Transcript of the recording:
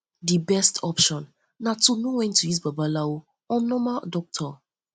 di um best option na to know um when to use babalawo or normal um doctor